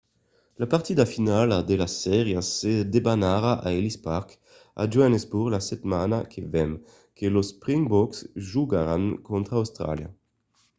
la partida finala de las sèrias se debanarà a ellis park a johannesburg la setmana que ven quand los springboks jogaràn contra austràlia